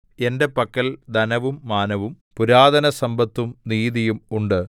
എന്റെ പക്കൽ ധനവും മാനവും പുരാതനസമ്പത്തും നീതിയും ഉണ്ട്